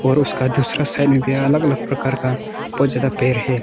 और उसका दूसरा साइड में भी अलग अलग प्रकार का बहुत ज्यादा पेड़ है।